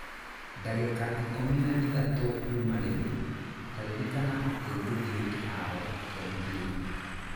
ndagĩka ikũmi na ĩtatũ kuuma rĩu, ta ririkana atĩ ngũthiĩ kĩhaaro kĩa mũbira